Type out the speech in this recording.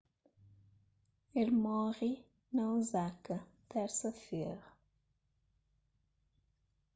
el móre na osaka térsa-fera